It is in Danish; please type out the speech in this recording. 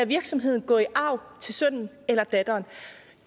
virksomhed gå i arv til sønnen eller datteren